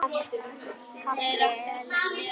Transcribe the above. KAFLI ELLEFU